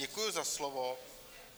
Děkuji za slovo.